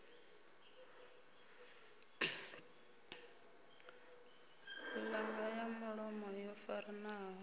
ṱhanga ya mulomo yo faranaho